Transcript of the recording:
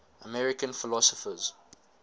american philosophers